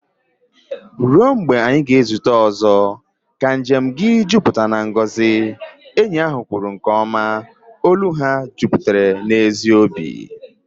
"Ruo mgbe anyị ga-ezute ọzọ, ka njem gị jupụta na ngọzi," enyi ahụ kwuru nke ọma, olu ha jupụtara n'ezi obi